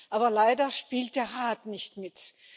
aber leider spielt der Rat nicht mit.